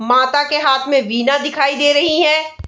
माता के हाथ में वीणा दिखाई दे रही है।